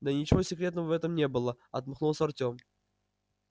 да ничего секретного в этом не было отмахнулся артём